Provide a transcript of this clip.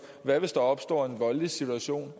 hvad hvis der opstår en voldelig situation